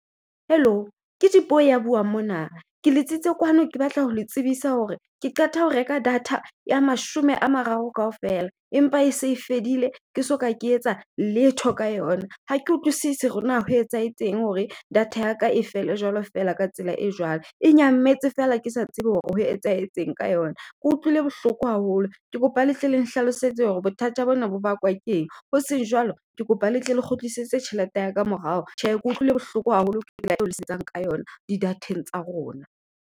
Hello, ke Dipuo ya buang mona. Ke letsitse kwano ke batla ho le tsebisa hore ke qeta ho reka data ya mashome a mararo kaofela empa e se fedile ke soka ke etsa letho ka yona. Ha ke utlwisise hore na ho etsahetseng hore data yaka e fele jwalo feela ka tsela e jwalo. E nyametse feela ke sa tsebe hore ho etsahetseng ka yona. Ke utlwile bohloko haholo ke kopa le tle le nhlalosetse hore bothata bona bo bakwa keng. Hoseng jwalo ke kopa le tle le kgutlisetse tjhelete ya ka morao. Tjhe ke utlwile bohloko haholo ke tsela eo le sebetsang ka yona di data-eng tsa rona.